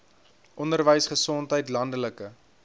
onderwys gesondheid landelike